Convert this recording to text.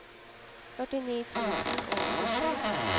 førtini tusen og åttisju